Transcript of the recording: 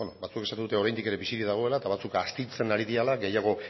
beno batzuek esaten dute oraindik ere bizirik dagoela eta batzuk astintzen ari direla